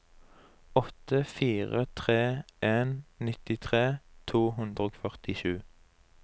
åtte fire tre en nittitre to hundre og førtisju